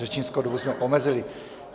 Řečnickou dobu jsme omezili.